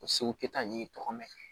O seko kɛ ta n'i tɔgɔ mɛn